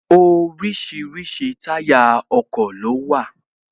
Orísirísi táyà ọkọ̀ ló wà